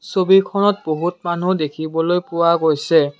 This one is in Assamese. ছবিখনত বহুত মানুহ দেখিবলৈ পোৱা গৈছে।